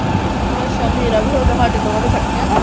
ਅੱਛਾ ਮੇਰਾ ਵੀ ਹੋਗਿਆ ਹਾਡੇ ਦੋਵਾਂ ਦਾ ਇਕੱਠਿਆਂ ਦਾ